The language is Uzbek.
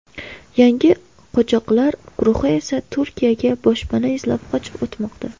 Yangi qochoqlar guruhi esa Turkiyaga boshpana izlab qochib o‘tmoqda.